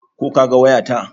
Ko ka ga waya ta?